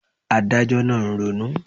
Adájọ́ náà ń ronú